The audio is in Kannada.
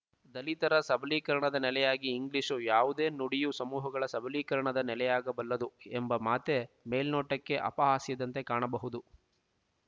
ದಲಿತರ ಸಬಲೀಕರಣದ ನೆಲೆಯಾಗಿ ಇಂಗ್ಲೀಷು ಯಾವುದೇ ನುಡಿಯು ಸಮೂಹಗಳ ಸಬಲೀಕರಣದ ನೆಲೆಯಾಗಬಲ್ಲದು ಎಂಬ ಮಾತೇ ಮೇಲ್ನೋಟಕ್ಕೆ ಅಪಹಾಸ್ಯದಂತೆ ಕಾಣಬಹುದು